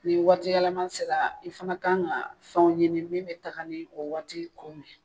Ni waati yɛlɛma sera i fɛnɛ ka kan ka fɛnw ɲini min bɛ taaga ni o waati kow ye.